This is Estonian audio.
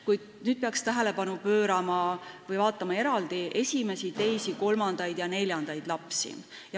Kuid nüüd peaks vaatama eraldi esimesi, teisi, kolmandaid ja neljandaid lapsi.